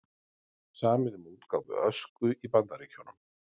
Samið um útgáfu Ösku í Bandaríkjunum